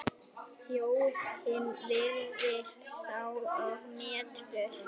Þjóðin virðir þá og metur.